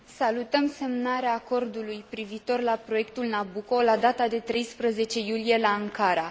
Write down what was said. Salutăm semnarea acordului privitor la proiectul Nabucco la data de 13 iulie la Ankara.